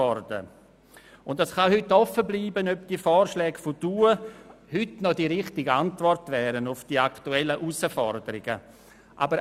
Es kann heute offen bleiben, ob die damaligen Vorschläge heute noch die richtige Antwort auf die aktuellen Herausforderungen wären.